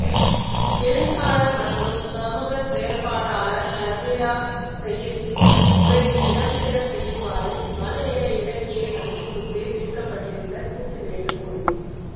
எழுத்தாளர் மற்றும் சமூகச் செயற்பாட்டாளர் ஷர்மிளா செய்யித்தின் உரையை இடம்பெறச் செய்யுமாறு மலையக இலக்கியச் சந்திப்புக்கு விடுக்கப்பட்டிருந்த கூட்டு வேண்டுகோள்